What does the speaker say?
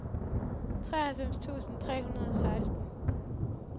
treoghalvfems tusind tre hundrede og seksten